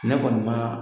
Ne kɔni ma